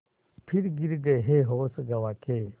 फिर गिर गये होश गँवा के